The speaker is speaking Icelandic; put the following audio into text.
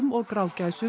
og